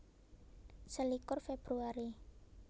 Selikur Februari